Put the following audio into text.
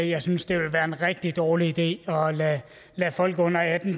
jeg synes det ville være en rigtig dårlig idé at lade folk under atten